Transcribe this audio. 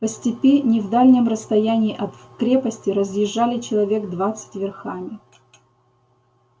по степи не в дальнем расстоянии от крепости разъезжали человек двадцать верхами